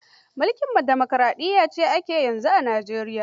Mulkin demokaraɗiyya ce ake yi yanzu a Nijeriya.